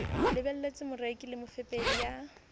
lebelletse moreki le mofepedi ya